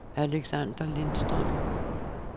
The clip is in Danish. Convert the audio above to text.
Alexander Lindstrøm